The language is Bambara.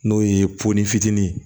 N'o ye poofitinin ye